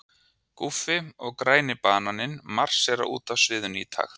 Guffi og græni bananinn marsera út af sviðinu í takt.